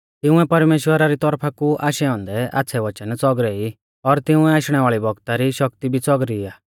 तिंउऐ परमेश्‍वरा री तौरफा कु आशै औन्दै आच़्छ़ै वचन च़ौगरै ई और तिंउऐ आशणै वाल़ै बौगता री शक्ति भी च़ौगरी आ